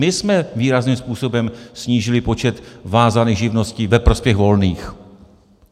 My jsme výrazným způsobem snížili počet vázaných živností ve prospěch volných.